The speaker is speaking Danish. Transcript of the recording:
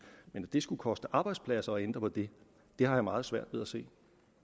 men at det skulle koste arbejdspladser at ændre på det har jeg meget svært ved at se